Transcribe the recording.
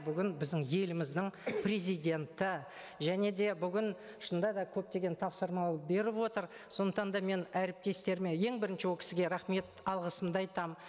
бүгін біздің еліміздің президенті және де бүгін шынында да көптеген тапсырма беріп отыр сондықтан да мен әріптестеріме ең бірінші ол кісіге рахмет алғысымды айтамын